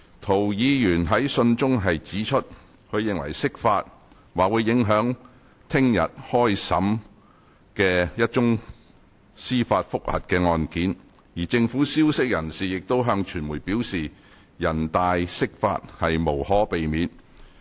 涂議員在信中指出，他認為釋法"或會影響明日開始審理的一宗司法覆核的案件，而政府消息人士亦曾向傳媒表示'人大釋法無可避免'"。